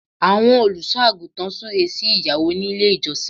Àwọn Olùṣọ́ àgùntàn súre sí ìgbéyàwó nílé ìjọsìn